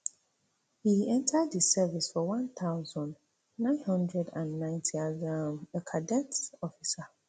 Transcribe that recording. e enta di service for one thousand, nine hundred and ninety as um a cadet officer